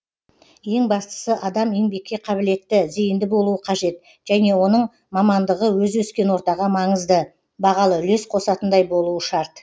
ең бастысы адам еңбекке қабілетті зейінді болуы қажет және оның мамандығы өзі өскен ортаға маңызды бағалы үлес қосатындай болуы шарт